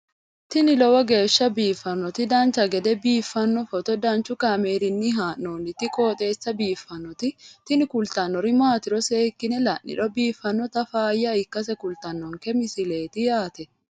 tini lowo geeshsha biiffannoti dancha gede biiffanno footo danchu kaameerinni haa'noonniti qooxeessa biiffannoti tini kultannori maatiro seekkine la'niro biiffannota faayya ikkase kultannoke misileeti yaate